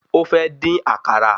Ó fẹ́ dín àkàrà